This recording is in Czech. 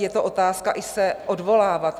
Je to otázka i se odvolávat.